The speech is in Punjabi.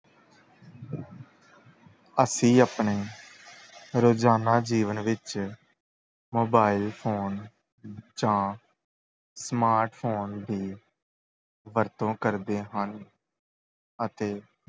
ਅਸੀਂ ਆਪਣੇ ਰੋਜ਼ਾਨਾ ਜੀਵਨ ਵਿੱਚ mobile phone ਜਾਂ smart phone ਦੀ ਵਰਤੋਂ ਕਰਦੇ ਹਨ ਅਤੇ